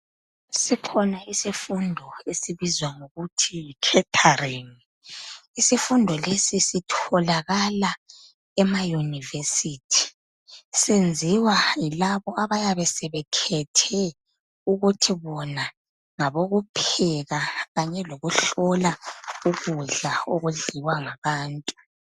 sikhona isifundo esibizwa ngokuthi catering isifundo lesi sitholakala ema university senziwa yilabo abayabe sebekhethe ukuthi bona ukupheka kanye lokuhlola ukudla okudliwa ngabantu